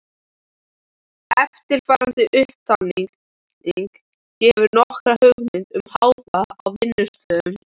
Eftirfarandi upptalning gefur nokkra hugmynd um hávaða á vinnustöðum í